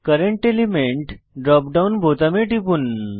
current element drop down বোতামে টিপুন